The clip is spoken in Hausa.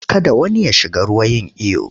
Kada wani ya shiga ruwa yin iyo!